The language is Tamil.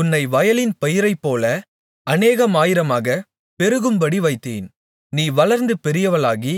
உன்னை வயலின் பயிரைப்போல அநேகமாயிரமாகப் பெருகும்படி வைத்தேன் நீ வளர்ந்து பெரியவளாகி